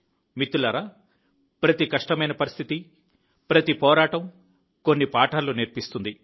మిత్రులారా ప్రతి కష్టమైన పరిస్థితి ప్రతి పోరాటం కొన్ని పాఠాలు నేర్పిస్తుంది